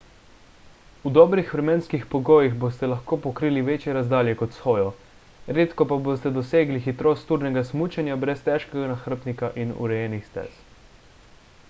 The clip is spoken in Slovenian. v dobrih vremenskih pogojih boste lahko pokrili večje razdalje kot s hojo – redko pa boste dosegli hitrost turnega smučanja brez težkega nahrbtnika in urejenih stez